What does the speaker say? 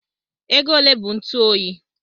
Ego ole bụ ntụ oyi?